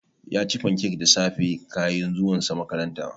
Yaci fancak da safe kayin zuwan sa makaranta